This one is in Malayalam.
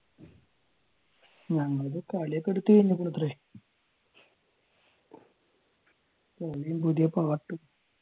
ഞങ്ങളുടേത് കളിയൊക്കെ എടുത്തുകഴിഞ്ഞിക്കുണു അത്രേ കളിയും പുതിയ പാട്ടും